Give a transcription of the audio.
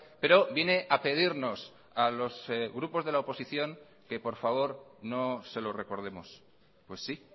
pero viene a pedirnos a los grupos de la oposición que por favor no se lo recordemos pues sí